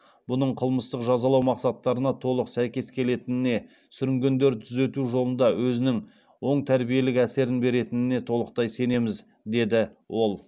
бұның қылмыстық жазалау мақсаттарына толық сәйкес келетініне сүрінгендерді түзету жолында өзінің оң тәрбиелік әсерін беретініне толықтай сенеміз деді ол